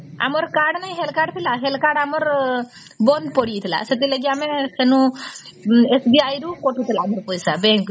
ଆମର card ନାହିଁ health card ଥିଲା health କାର୍ଡ ଆମର ବନ୍ଦ ପଡି ଯାଇଥିଲା ସେଥି ଲାଗି ଆମେ ସନୁ SBI ରୁ କଟିଥିଲା ମୋର ପଇସା bank ରୁ